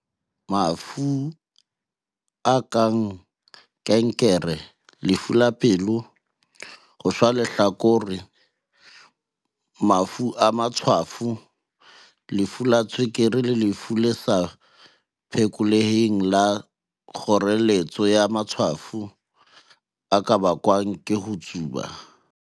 "Mafu a kang kankere, lefu la pelo, ho shwa lehlakore, mafu a matshwafo, lefu la tswekere le lefu le sa phe koleheng la kgoreletso ya matshwafo a ka bakwa ke ho tsuba."